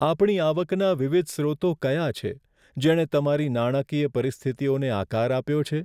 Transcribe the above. આપણી આવકના વિવિધ સ્રોતો કયા છે, જેણે તમારી નાણાકીય પરિસ્થિતિઓને આકાર આપ્યો છે?